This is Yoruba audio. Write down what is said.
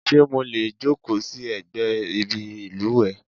Ṣé mo lè jókòó sí ẹ̀gbẹ́ ibi ìlùwẹ̀?